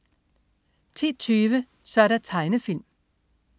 10.20 Så' der tegnefilm